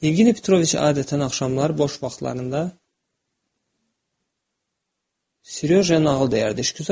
Yevgeni Petroviç adətən axşamlar boş vaxtlarında, Seroja nağıl deyərdi.